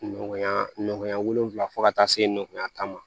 Ɲɔgɔnya wolonfila fɔ ka taa se nɔgɔya kama